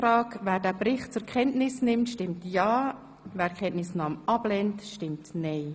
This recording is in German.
Wer den Bericht zur Kenntnis nimmt, stimmt ja, wer ihn ablehnt, stimmt nein.